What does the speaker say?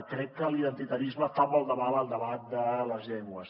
crec que l’identitarisme fa molt de mal al debat de les llengües